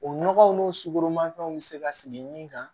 O nɔgɔw n'o sugoroma fɛnw be se ka sigi min kan